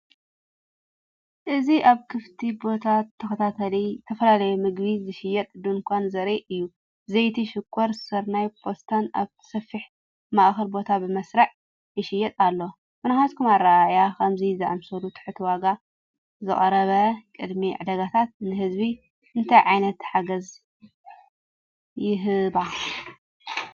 እዚ ኣብ ክፉት ቦታ ተተኺሉ ዝተፈላለዩ ምግቢ ዝሸይጥ ድኳን ዘርኢ እዩ። ዘይቲ፡ ሽኮር፡ ስርናይ፡ ፓስታን ኣብቲ ሰፊሕ ማእከል ቦታ ብመስርዕ ይሽየጥ ኣሎ። ብናትኩም ኣረኣእያ፡ ከምዚ ዝኣመሰለ ትሑት ዋጋ ዘቕርባ ቅድመ ዕዳጋታት ንህዝቢ እንታይ ዓይነት ሓገዝ ይህባ?